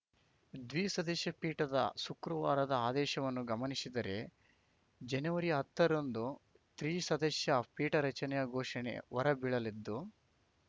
ದ್ವಿಸದಸ್ಯ ಪೀಠದ ಶುಕ್ರವಾರದ ಆದೇಶವನ್ನು ಗಮನಿಸಿದರೆ ಜನವರಿಹತ್ತರಂದು ತ್ರಿಸದಸ್ಯ ಪೀಠ ರಚನೆಯ ಘೋಷಣೆ ಹೊರಬೀಳಲಿದ್ದು